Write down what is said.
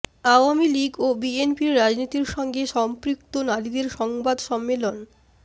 আওয়ামী লীগ ও বিএনপির রাজনীতির সঙ্গে সম্পৃক্ত নারীদের সংবাদ সম্মেলন